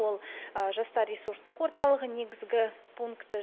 ол жастар ресурстық орталығы негізгі пункті